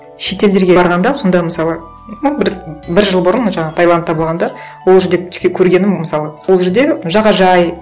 шетелдерге барғанда сонда мысалы ну бір бір жыл бұрын жаңағы таиландта болғанда ол жерде тіке көргенім мысалы сол жерде жағажай